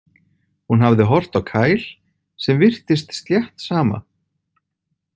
Hún hafði horft á Kyle sem virtist slétt sama.